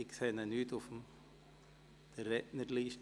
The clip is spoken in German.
Ich sehe ihn nicht auf der Rednerliste.